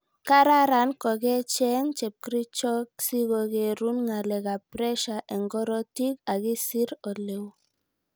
Kararan kokecheng chepkerichot sikokerun ngalekap pressure eng korotik akisir oleu